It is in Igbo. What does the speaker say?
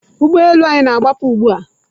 Ụgbọ elu anyị na-agbapụ ugbu a.